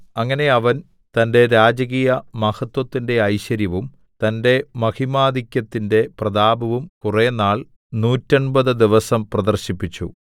അങ്ങനെ അവൻ തന്റെ രാജകീയമഹത്വത്തിന്റെ ഐശ്വര്യവും തന്റെ മഹിമാധിക്യത്തിന്റെ പ്രതാപവും കുറേനാൾ നൂറ്റെൺപത് 180 ദിവസം പ്രദർശിപ്പിച്ചു